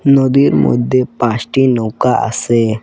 নদীর মধ্যে পাঁসটি নৌকা আসে ।